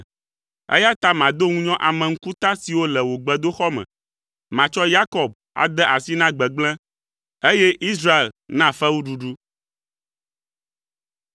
eya ta mado ŋunyɔ ame ŋkuta siwo le wò gbedoxɔ me. Matsɔ Yakob ade asi na gbegblẽ, eye Israel na fewuɖuɖu.”